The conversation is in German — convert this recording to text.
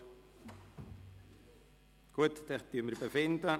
– Das scheint nicht der Fall zu sein.